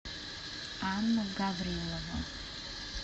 анну гаврилову